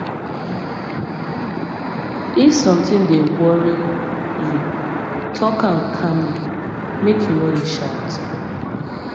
if sometin dey dey worry you tok am calmly make you no dey shout